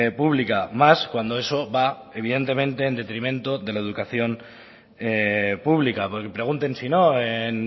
pública más cuando eso va evidentemente en detrimento de la educación pública porque pregunten si no en